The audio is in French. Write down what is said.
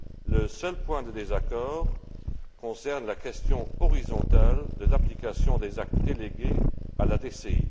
Le seul point de désaccord concerne la question horizontale de l'application des actes délégués à la DCI.